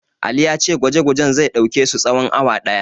Ali ya ce gwaje-gwajen zai ɗauke su tsawon awa ɗaya.